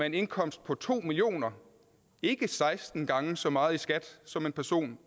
en indkomst på to million kr ikke seksten gange så meget i skat som den person